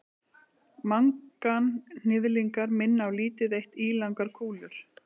manganhnyðlingar minna á lítið eitt ílangar kúlur